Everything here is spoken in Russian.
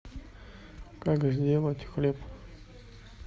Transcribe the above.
как сделать хлеб